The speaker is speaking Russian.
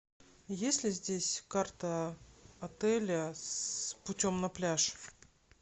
есть ли здесь карта отеля с путем на пляж